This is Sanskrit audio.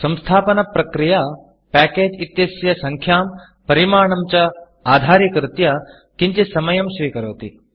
संस्थापनप्रक्रिया Packageपेकेजस् इत्यस्य सङ्ख्यां परिमाणं च आधारीकृत्य किञ्चित् समयं स्वीकरोति